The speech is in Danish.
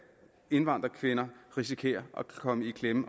indvandrerkvinder risikerer at komme i klemme